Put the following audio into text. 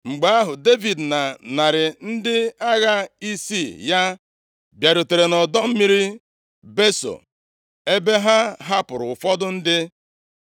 Mgbe ahụ, Devid na narị ndị agha isii ya bịarutere nʼọdọ mmiri Beso, ebe ha hapụrụ ụfọdụ ndị